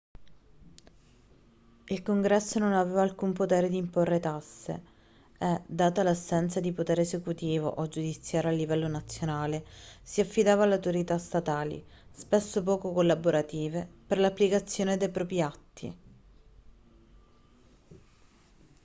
il congresso non aveva alcun potere di imporre tasse e data l'assenza di un potere esecutivo o giudiziario a livello nazionale si affidava alle autorità statali spesso poco collaborative per l'applicazione dei propri atti